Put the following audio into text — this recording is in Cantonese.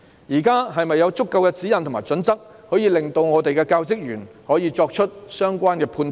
現時是否有足夠指引或準則，可以令教職員作出相關判斷？